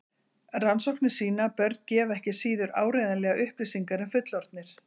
Rannsóknir sýna að börn gefa ekki síður áreiðanlegar upplýsingar en fullorðnir.